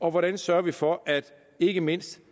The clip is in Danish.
og hvordan sørger vi for at ikke mindst